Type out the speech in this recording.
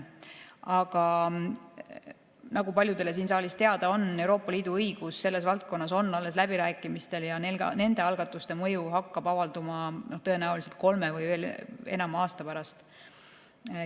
Aga nagu paljudele siin saalis teada on, Euroopa Liidu õigus selles valdkonnas on alles läbirääkimistel ja nende algatuste mõju hakkab avalduma tõenäoliselt kolme või enama aasta pärast.